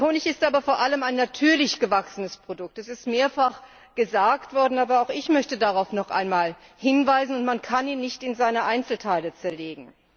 Der Honig ist aber vor allem ein natürlich gewachsenes Produkt es ist mehrfach gesagt worden, aber auch ich möchte darauf noch einmal hinweisen und man kann ihn nicht in seine Einzelteile zerlegen.